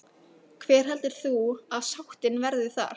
Hver heldur þú að sáttin verði þar?